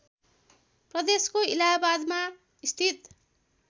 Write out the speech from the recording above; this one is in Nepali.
प्रदेशको इलाहाबादमा स्थित